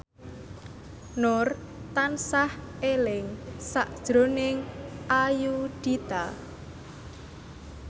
Nur tansah eling sakjroning Ayudhita